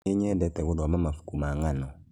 Nĩnyendete gũthoma mabuku ma ngano